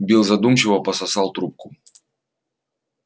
билл задумчиво пососал трубку